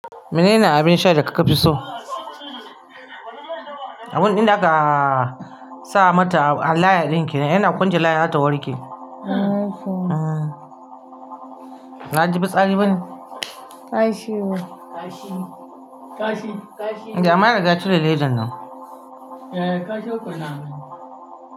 Menene abin sha da ka kafi so? Abin din da aka sa mata a layar din kenan, yana kwance layar za ta warke. Na ji fitsari bane? Kashi ne kashi kashi amma an riga an cire ledan nan. Eh, kashi ukun naman.